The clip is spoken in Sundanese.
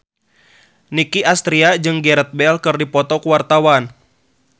Nicky Astria jeung Gareth Bale keur dipoto ku wartawan